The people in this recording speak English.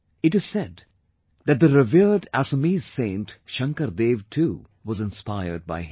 It is said that the revered Assamese saint Shankar Dev too was inspired by him